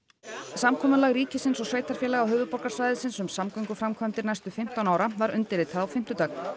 samkomulag ríkisins og sveitarfélaga höfuðborgarsvæðisins um samgönguframkvæmdir næstu fimmtán ára var undirritað á fimmtudag